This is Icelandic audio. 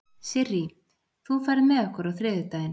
Sirrí, ferð þú með okkur á þriðjudaginn?